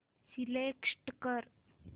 select कर